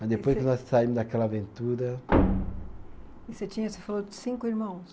Mas depois que nós saímos daquela aventura. E você tinha, você falou cinco irmãos?